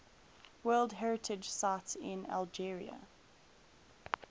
world heritage sites in algeria